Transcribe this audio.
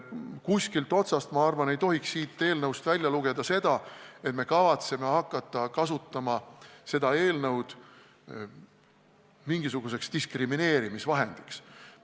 Mitte ühtestki otsast, ma arvan, ei tohiks sellest eelnõust välja lugeda seda, et me kavatseme hakata seda eelnõu kasutama mingisuguse diskrimineerimisvahendina.